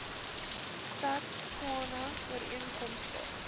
stad tshwane ooreenkomstig